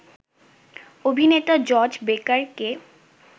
অভিনেতা জর্জ বেকারকে